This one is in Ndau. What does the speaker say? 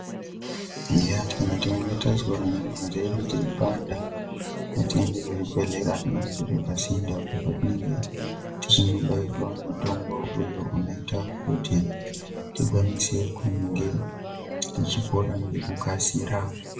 Eya kana teinge tazwa nyama dzedu dzeipanda ngatiende kuzvibhedhlera zvinenge zviri pasinte apo petinenge tozobairwa mutombo uyo unoita kuti tikwanise kunge tichipora ngekukasira.